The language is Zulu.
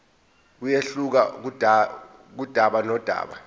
kuyehluka kudaba nodaba